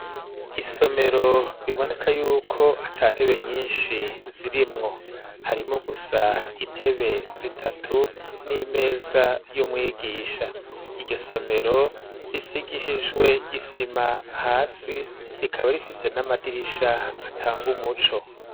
Isomero biboneka yuko ata ntebe nyinshi zirimwo harimwo gusa intebe zitatu n'imeza y'umwigisha iryo somero risigishijwe isima hasi rikaba rifise n'amadirisha atanga umuco.